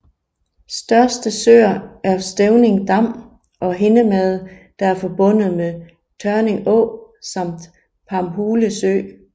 Største søer er Stevning Dam og Hindemade der er forbundet med Tørning Å samt Pamhule Sø